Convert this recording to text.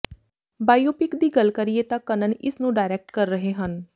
biopic ਦੀ ਗੱਲ ਕਰੀਏ ਤਾਂ ਕੰਨਨ ਇਸ ਨੂੰ ਡਾਇਰੈਕਟ ਕਰ ਰਹੇ ਹਨ